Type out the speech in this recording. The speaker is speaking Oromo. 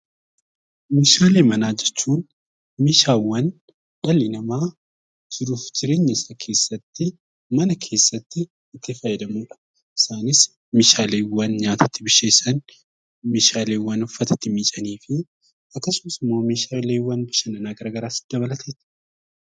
Meeshaalee manaa jechuun meeshaalee dhalli namaa jiruu fi jireenya isaa keessatti mana isaa keessatti itti fayyadamudha. Isaanis meeshaaleewwan nyaata itti bilcheessan meeshaawwan uffata itti miiccanii fi akkasumas immoo meeshaalee sirna garaagaraa dabalata.